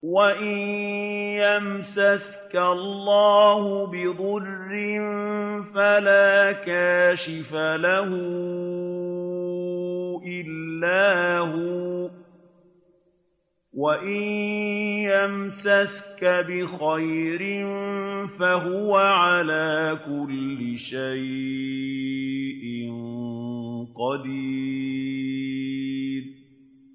وَإِن يَمْسَسْكَ اللَّهُ بِضُرٍّ فَلَا كَاشِفَ لَهُ إِلَّا هُوَ ۖ وَإِن يَمْسَسْكَ بِخَيْرٍ فَهُوَ عَلَىٰ كُلِّ شَيْءٍ قَدِيرٌ